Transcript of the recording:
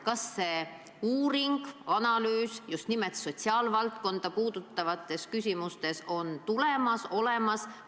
Kas see uuring või analüüs just nimelt sotsiaalvaldkonda puudutavates küsimustes on tulemas või juba olemas?